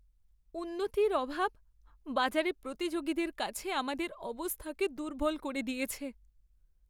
উন্নতির অভাব বাজারে প্রতিযোগীদের কাছে আমাদের অবস্থাকে দুর্বল করে দিয়েছে।